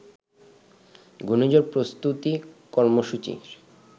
ঘূর্ণিঝড় প্রস্তুতি কর্মসূচির